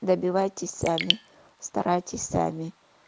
добивайтесь сами старайтесь сами